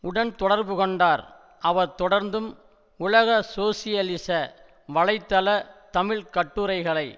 உடன் தொடர்புகொண்டார் அவர் தொடர்ந்தும் உலக சோசியலிச வலைத்தள தமிழ் கட்டுரைகளை